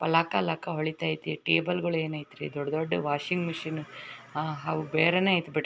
ಲಕ ಲಕ ಹೋಳಿತಯ್ತೆ ಟೇಬಲ್ ಗಳು ಏನ್ ಆಯ್ತೆ ರೀ ದೊಡ್ಡ ದೊಡ್ಡ ವಾಷಿಂಗ್ ಮೆಷಿನ್ ಆಹ್ ಅವು ಬೇರೆನೆ ಆಯ್ತೆ ಬಿಡ್ --